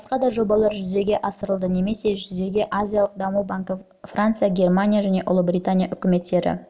басқа да жобалар жүзеге асырылды немесе жүзеге азиялық даму банкі франция германия және ұлыбритания үкіметтері